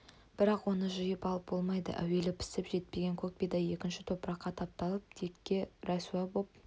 бірақ оны жиып алып болмайды әуелі пісіп жетпеген көк бидай екінші топыраққа тапталып текке рәсуә боп